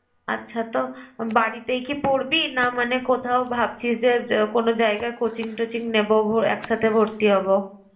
আচ্ছা তো বাড়িতেই কি পড়বি না মানে কোথাও ভাবছিস যে কোন জায়গায় coaching টচিং নেব একসাথে ভর্তি হবো?